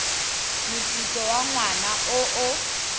moputso wa ngwaga o o